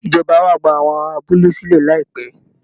Ìjọba á wá gba àwọn ará abúlé sílẹ̀ láìpẹ́